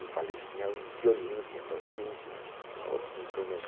Eu falei que tinha violino, tinha bandolim, tinha tinha outros instrumentos.